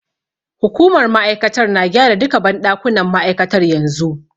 Hukumar ma'aikatar na gyara duka banɗakunan ma'aikatar yanzu.